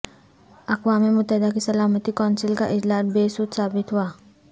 اقوام متحدہ کی سلامتی کونسل کا اجلاس بے سود ثابت ہوا